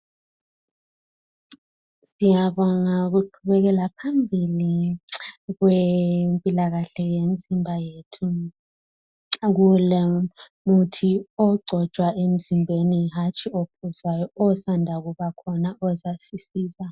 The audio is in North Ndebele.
Ngiyabonga ukuqhubekela phambili kwempilakahle yemizimba yethu. Kulomuthi ogcotshwa emzimbeni, hatshi ophuzwayo. Osanda kubakhona. Ozasisiza.